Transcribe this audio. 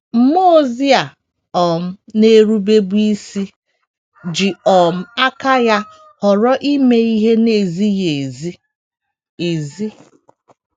Mmụọ ozi a um na - erubebu isi ji um aka ya họrọ ime ihe na - ezighị ezi. ezi.